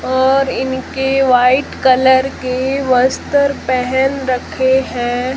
और इनके white colour के वस्त्र पहन रखे हैं।